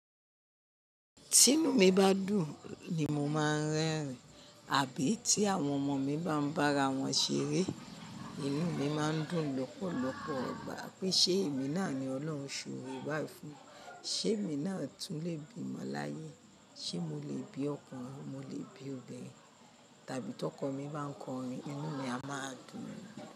Ti inú mi bá dùn ni mo máa ń rẹ́rìn. Àbí tí àwọn ọmọ mi bá ń bára wọn ṣeré, inú mi máa ń dùn lọ́pọ̀lọpọ̀. Pé ṣe èmi náà ni Ọlọ́run ṣòore bái fún. Ṣé èmi náà tún le bímọ́ láyé? Ṣé mo le bí ọkùnrin, mo le bí obìnrin? Tàbí tí ọkọ mi bá ń kọrin, inú mi a máa dùn mí.